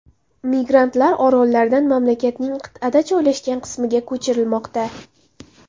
Migrantlar orollardan mamlakatning qit’ada joylashgan qismiga ko‘chirilmoqda.